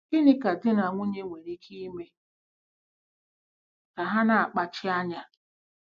Gịnị ka di na nwunye nwere ike ime ka ha na-akpachi anya?